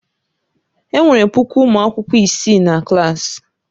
Enwere puku ụmụ akwụkwọ isii na klaasị.